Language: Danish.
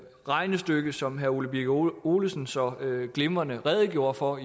regnestykke som herre ole birk olesen så glimrende redegjorde for